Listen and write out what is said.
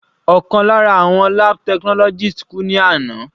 Ọ̀kan lára àwọn lab technologist kú ní àná.